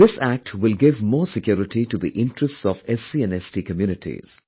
This Act will give more security to the interests of SC and ST communities